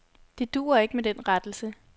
Det duer ikke med den rettelse.